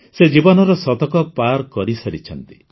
ସେ ଜୀବନର ଶତକ ପାର କରିସାରିଛନ୍ତି